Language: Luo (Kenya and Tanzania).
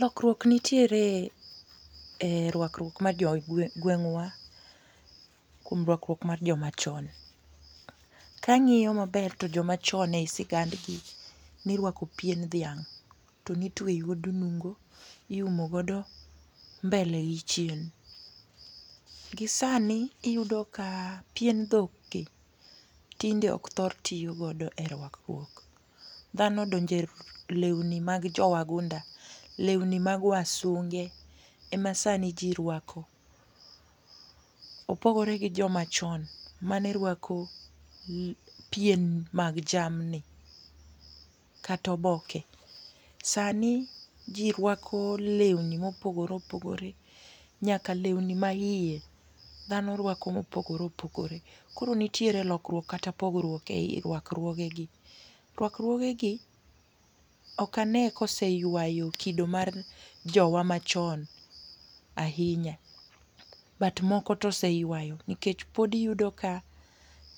Lokruok nitiere e rwakruok mar jo gweng'wa kuom rwakruok mar joma chon. Ka ang'iyo ma ber to joma chon e sigand gi ni irwako pien dhiang' to ni tweyo e nungo iumo go mbele gi chien. Gi sani iyudo ka pien dhok gi tinde ok thor tiyo godo e rwakruok dhano odonje lweni mag jo wagunda lweni mag wasunge e ma sani ji rwako. Opogore gi jo ma chon ma ne rwako pien mag jamni kata oboke. Sani ji rwako lewni ma opogore opogore nyaka lewni ma iye dhano rwako mo opogore opogore ,koro nitiere lokruok kata pogruok e i rwakruoge gi. Rwakruoge gi ok ane ka oseywayo kido mar jowa ma chon ahinya but moko to oseywayo nikech pod iyudo ka